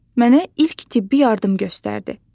Mənə ilk tibbi yardım göstərdi.